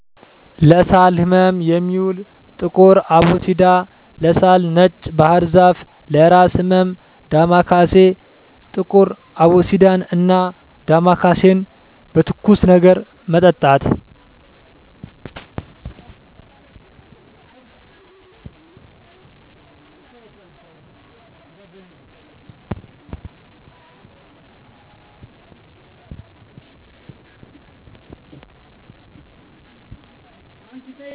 ለሳል ህመም የሚውል ጥቁር አቦሲዳ, ለሳል ነጭ ባህርዛፍ ,ለእራስ ህመም ዳማካሴ። ጥቁር አቦሲዳን እና ዳማካሴን በትኩስ ነገር መጠጣት።